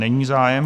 Není zájem.